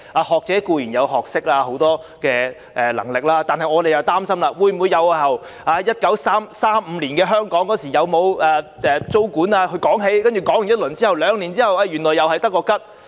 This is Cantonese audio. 學者固然有學識，亦很有能力，但我們擔心會否由1935年的香港有否租管說起，然後兩年後原來又是空談？